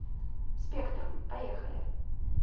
спектрум поехали